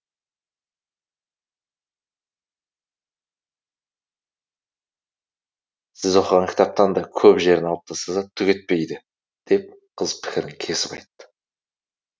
сіз оқыған кітаптан да көп жерін алып тастаса түк етпейді деп қыз пікірін кесіп айтты